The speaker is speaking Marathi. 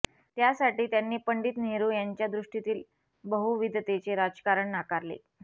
त्यासाठी त्यांनी पंडित नेहरू यांच्या दृष्टीतील बहुविधतेचे राजकारण नाकारले